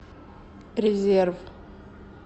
резерв